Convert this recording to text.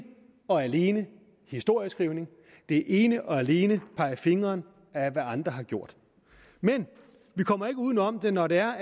og alene historieskrivning det er ene og alene pegen fingre af hvad andre har gjort men vi kommer ikke uden om det når det er